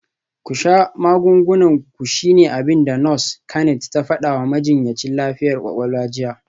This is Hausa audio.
“Ku sha magungunan ku shine abin da Nurse Kennet ta fada wa majinyacin lafiyar kwakwalwa jiya.